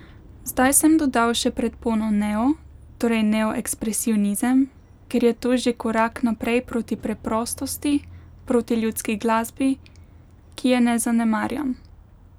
Zdaj sem dodal še predpono neo, torej neoekspresionizem, ker je to že korak naprej proti preprostosti, proti ljudski glasbi, ki je ne zanemarjam.